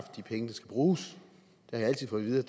bruges